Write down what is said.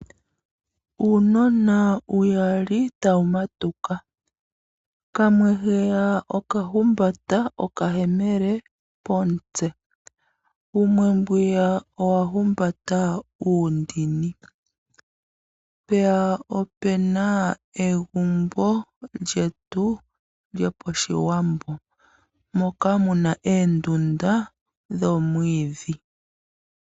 Uunona uyali tawu matuka. Kamwe okahumbata okayemele komutse, wumwe owa humbata uundini. Opu na wo egumbo lyoPashiwambo moka mu na oondunda dhoomwiidhi.